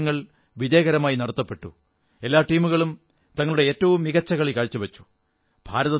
ലോക കപ്പ് മത്സരങ്ങൾ വിജയകരമായി നടത്തപ്പെട്ടു എല്ലാ ടീമുകളും തങ്ങളുടെ ഏറ്റവു മികച്ച കളി കാഴ്ചവച്ചു